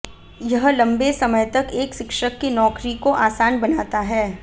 यह लंबे समय तक एक शिक्षक की नौकरी को आसान बनाता है